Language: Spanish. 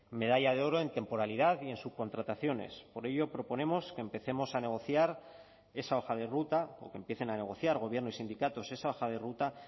medalla de oro en temporalidad y en subcontrataciones por ello proponemos que empecemos a negociar esa hoja de ruta o que empiecen a negociar gobierno y sindicatos esa hoja de ruta